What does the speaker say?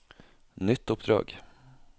nytt oppdrag